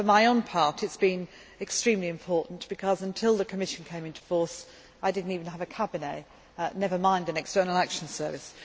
And, for my own part, it has been extremely important because, until the Commission came into force, I did not even have a cabinet, never mind an External Action Service.